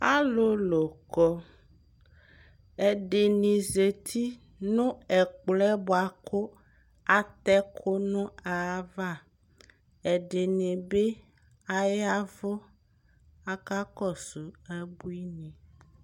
Alulu kɔ ɛdini zati nu ɛkplɔ yɛ buaku atɛ ɛku nu ayava ɛdini bi ayavu akakɔsu abuini